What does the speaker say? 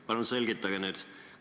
Palun selgitage nüüd!